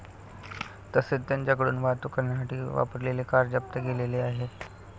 तसेच त्यांच्याकडून वाहतूक करण्यासाठी वापरलेली कार जप्त केलेली आहे.